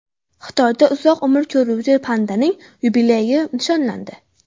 Xitoyda uzoq umr ko‘ruvchi pandaning yubileyi nishonlandi.